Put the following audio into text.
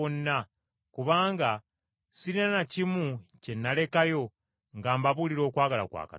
kubanga sirina na kimu kye nalekayo nga mbabuulira okwagala kwa Katonda.